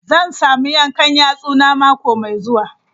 Zan samu yankan yatsuna mako mai zuwa.